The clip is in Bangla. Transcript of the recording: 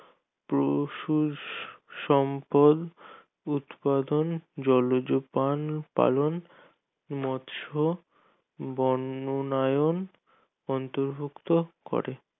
পশু সম্পদ উৎপাদন জলজ পান পালন মৎস বন্ননায়ন অন্তর্ভুক্ত করে